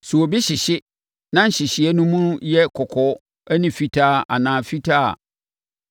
“Sɛ obi hyehye na sɛ nhyehyeeɛ no mu yɛ kɔkɔɔ ne fitaa anaa fitaa a,